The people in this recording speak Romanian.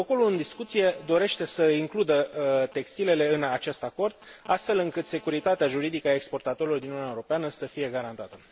Protocolul în discuție dorește să includă textilele în acest acord, astfel încât securitatea juridică a exportatorilor din Uniunea Europeană să fie garantată.